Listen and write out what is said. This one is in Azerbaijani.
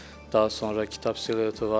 Daha sonra kitab silueti var.